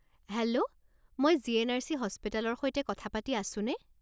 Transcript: Hello! মই GNRC. হাস্পতালৰ সৈতে কথা পাতি আছোনে?